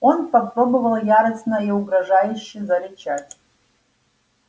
он попробовал яростно и угрожающе зарычать